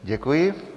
Děkuji.